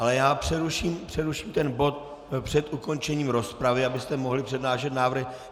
Ale já přeruším ten bod před ukončením rozpravy, abyste mohli přednášet návrhy.